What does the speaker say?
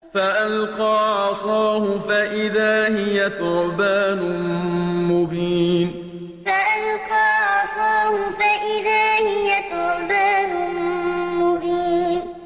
فَأَلْقَىٰ عَصَاهُ فَإِذَا هِيَ ثُعْبَانٌ مُّبِينٌ فَأَلْقَىٰ عَصَاهُ فَإِذَا هِيَ ثُعْبَانٌ مُّبِينٌ